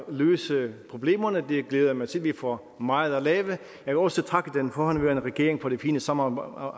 løse problemerne det glæder jeg mig til vi får meget at lave jeg vil også takke den forhenværende regering for det fine samarbejde